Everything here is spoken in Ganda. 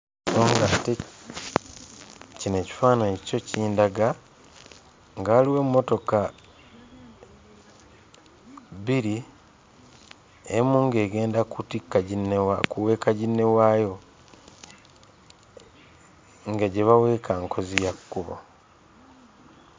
So ng'ate kino ekifaananyi kyo kindaga nga waliwo emmotoka bbiri: emu ng'egenda kutikka ginne kuweeka ginne waayo, nga gye baweeka nkozi ya kkubo.